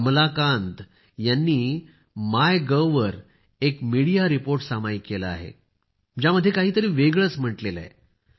कमलाकांत यांनी मायगोव वर एक मीडिया रिपोर्ट सामायिक केला आहे ज्यामध्ये काहीतरी वेगळेच म्हटले आहे